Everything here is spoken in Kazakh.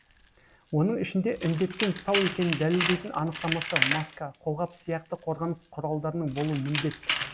оның ішінде індеттен сау екенін дәлелдейтін анықтамасы маска қолғап сияқты қорғаныс құралдарының болуы міндет